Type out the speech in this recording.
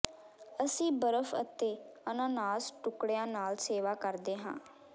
ਅਸੀਂ ਬਰਫ਼ ਅਤੇ ਅਨਾਨਾਸ ਟੁਕੜਿਆਂ ਨਾਲ ਸੇਵਾ ਕਰਦੇ ਹਾਂ